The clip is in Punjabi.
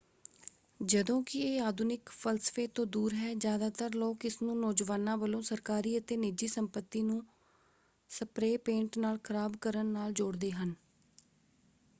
ਜਦੋਂ ਕਿ ਇਹ ਆਧੁਨਿਕ ਫ਼ਲਸਫ਼ੇ ਤੋਂ ਦੂਰ ਹੈ ਜ਼ਿਆਦਾਤਰ ਲੋਕ ਇਸਨੂੰ ਨੌਜਵਾਨਾਂ ਵੱਲੋਂ ਸਰਕਾਰੀ ਅਤੇ ਨਿੱਜੀ ਸੰਪਤੀ ਨੂੰ ਸਪ੍ਰੇ ਪੇਂਟ ਨਾਲ ਖ਼ਰਾਬ ਕਰਨ ਨਾਲ ਜੋੜਦੇ ਹਨ।